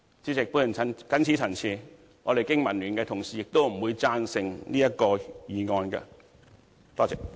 主席，我謹此陳辭，經民聯的同事不會贊成這項議案。